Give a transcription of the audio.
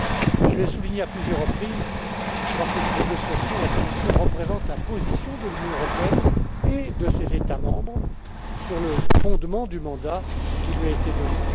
Mais je l'ai souligné à plusieurs reprises, dans ces négociations, la Commission représente la position de l'Union européenne et de ses États membres sur le fondement du mandat qui lui a été donné.